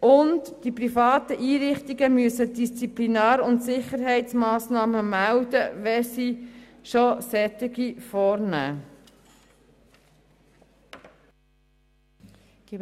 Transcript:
Und die privaten Einrichtungen müssen Disziplinar- und Sicherheitsmassnahmen melden, wenn sie schon solche vornehmen.